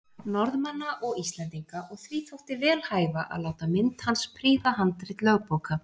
Norðmanna og Íslendinga, og því þótti vel hæfa að láta mynd hans prýða handrit lögbóka.